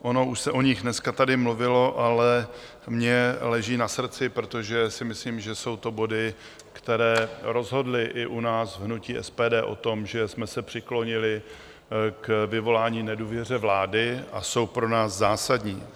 Ono už se o nich dneska tady mluvilo, ale mně leží na srdci, protože si myslím, že jsou to body, které rozhodly i u nás v hnutí SPD o tom, že jsme se přiklonili k vyvolání nedůvěry vládě, a jsou pro nás zásadní.